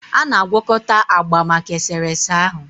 Ọ na-agwakọta agba maka eserese ahụ